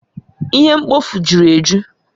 Ihe mkpofu juru eju